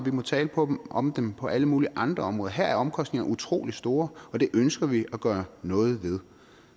må tale om om dem på alle mulige andre områder her er omkostningerne utrolig store og det ønsker vi at gøre noget ved